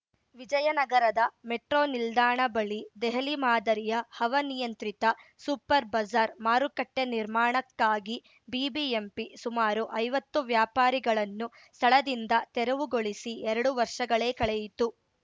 ವಿಜಯನಗರದ ಮೆಟ್ರೋ ನಿಲ್ದಾಣ ಬಳಿ ದೆಹಲಿ ಮಾದರಿಯ ಹವಾನಿಯಂತ್ರಿತ ಸೂಪರ್‌ ಬಜಾರ್‌ ಮಾರುಕಟ್ಟೆನಿರ್ಮಾಣಕ್ಕಾಗಿ ಬಿಬಿಎಂಪಿ ಸುಮಾರು ಐವತ್ತು ವ್ಯಾಪಾರಿಗಳನ್ನು ಸ್ಥಳದಿಂದ ತೆರವುಗೊಳಿಸಿ ಎರಡು ವರ್ಷಗಳೇ ಕಳೆಯಿತು